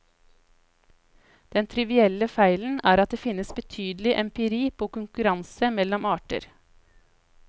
Den trivielle feilen er at det finnes betydelig empiri på konkurransen mellom arter.